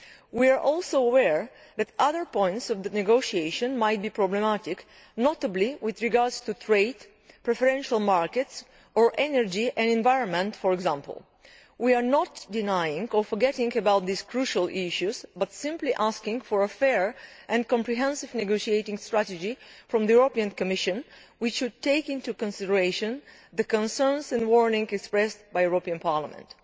We are also aware that other points in the negotiations might be problematic, notably with regard to trade, preferential markets or energy and environment, for example. We are not denying, or forgetting about, these crucial issues but are simply asking for a fair and comprehensive negotiating strategy on the Commission's part one which takes into consideration the concerns and warnings voiced by the European Parliament.